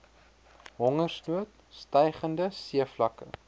hongersnood stygende seevlakke